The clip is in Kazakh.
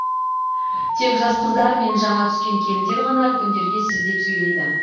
тек жас қыздар мен жаңа түскен келіндер ғана үлкендерге сіз деп сөйлейді